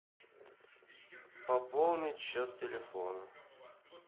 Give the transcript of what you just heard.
пополнить счет телефона